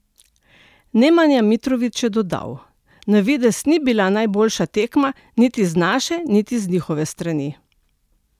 Nemanja Mitrović je dodal: "Na videz ni bila najboljša tekma, niti z naše niti z njihove strani.